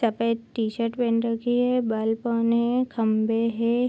कपड़े टी-शर्ट पहन रखी है बालकों ने खम्भे हैं।